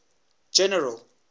general